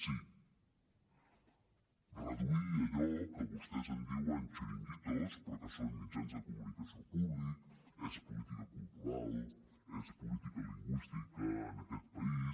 sí reduir allò que vostès en diuen chiringuitos però que són mitjans de comunicació públics és política cultural és política lingüística en aquest país